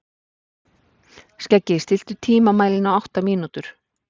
Skeggi, stilltu tímamælinn á átta mínútur.